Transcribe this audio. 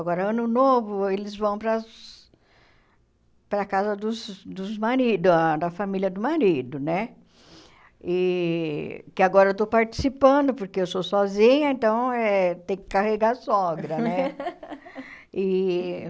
Agora, ano novo, eles vão para as para a casa dos dos maridos, ah da família do marido, né e que agora eu estou participando, porque eu sou sozinha, então, eh tem que carregar a sogra né. E